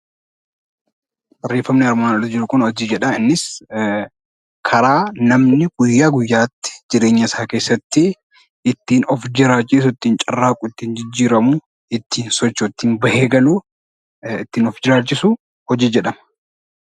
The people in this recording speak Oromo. Barreeffamni armaan oli jiru kun 'Hojii' jedha. Innis karaa namni guyyaa guyyaatti jireenya isaa keessatti ittiin of jiraachisu, ittiin carraaqu, ittiin jijjiiramu, ittiin bahee galu, ittiin of jiraachisu 'Hojii' jedhama.